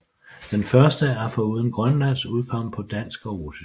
Den første er foruden grønlandsk udkommet på dansk og russisk